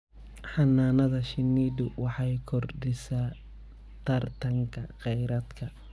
Xannaanada shinnidu waxay kordhisaa tartanka kheyraadka.